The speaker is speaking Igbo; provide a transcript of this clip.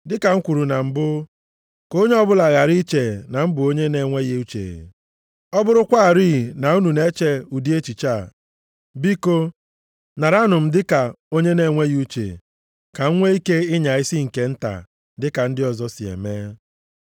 Dịka m kwuru na mbụ, ka onye ọbụla ghara iche na m bụ onye na-enweghị uche. Ọ bụrụkwarị na unu na-eche ụdị echiche a, biko naranụ m dịka onye na-enweghị uche, ka m nwee ike ịnya isi nke nta dịka ndị ọzọ si eme.